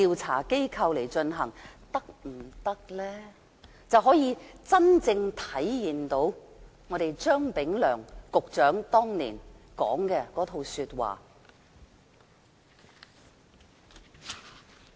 此舉便可以真正體現前局長張炳良當年所說的話。